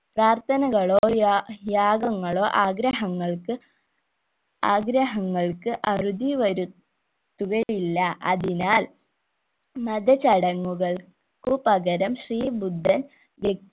പ്രാർത്ഥനകളോ യാ യാഗങ്ങളോ ആഗ്രഹങ്ങൾക്ക് ആഗ്രഹങ്ങൾക്ക് അറുതി വരൂ തുക ഇല്ല അതിനാൽ മതചടങ്ങുകൾക്ക് പകരം ശ്രീബുദ്ധൻ